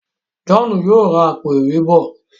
John yóò rá Àpò-ìwé bọ.